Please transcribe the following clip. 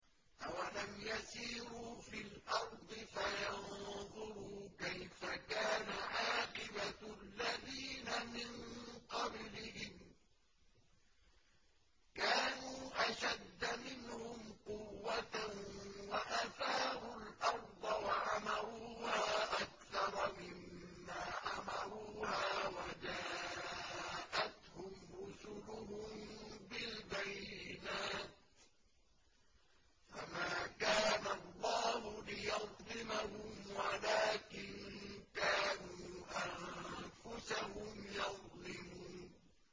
أَوَلَمْ يَسِيرُوا فِي الْأَرْضِ فَيَنظُرُوا كَيْفَ كَانَ عَاقِبَةُ الَّذِينَ مِن قَبْلِهِمْ ۚ كَانُوا أَشَدَّ مِنْهُمْ قُوَّةً وَأَثَارُوا الْأَرْضَ وَعَمَرُوهَا أَكْثَرَ مِمَّا عَمَرُوهَا وَجَاءَتْهُمْ رُسُلُهُم بِالْبَيِّنَاتِ ۖ فَمَا كَانَ اللَّهُ لِيَظْلِمَهُمْ وَلَٰكِن كَانُوا أَنفُسَهُمْ يَظْلِمُونَ